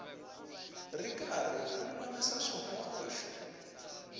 ri karhi u lulamisa swihoxo